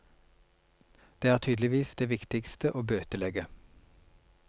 Det er tydeligvis det viktigste å bøtelegge.